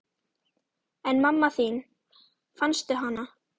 En mamma þín, fannstu hana?